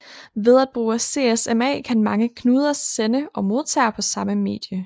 Ved at bruge CSMA kan mange knuder sende og modtage på samme medie